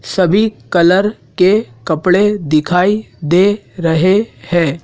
सभी कलर के कपड़े दिखाई दे रहे हैं।